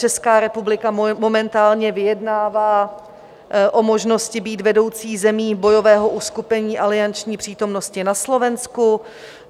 Česká republika momentálně vyjednává o možnosti být vedoucí zemí bojového uskupení alianční přítomnosti na Slovensku.